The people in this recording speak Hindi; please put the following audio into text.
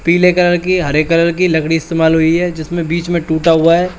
पीले कलर की हरे कलर की लकड़ी इस्तमाल हुई है जिसमें बीच में टूटा हुआ --